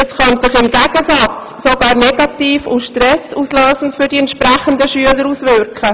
Es könnte sich im Gegenteil sogar negativ und stressauslösend auf die betroffenen Schüler auswirken.